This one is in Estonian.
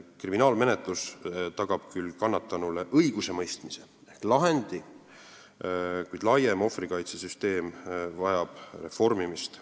Kriminaalmenetlus tagab küll kannatanule õigusemõistmise ehk lahendi, kuid laiem ohvrikaitsesüsteem vajab reformimist.